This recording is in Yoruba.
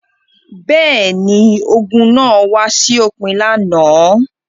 Bẹ́ẹ̀ ni, ogun náà wá sí òpin lánàá.